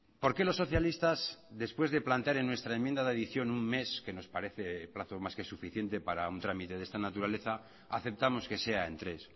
por qué los socialistas después de plantear en nuestra enmienda de adición un mes que nos parece plazos más que suficiente para un trámite de esta naturaleza aceptamos que sea en tres